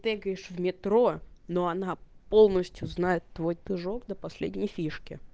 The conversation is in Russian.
бегаешь в метро но она полностью знает твой дружок на последней фишки